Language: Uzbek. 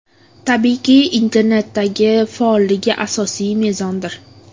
Tabiiyki, internetdagi faolligi asosiy mezondir.